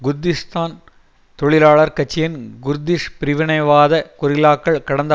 Kurdistan தொழிலாளர் கட்சியின் Kurdish பிரிவினைவாத கெரில்லாக்கள் கடந்த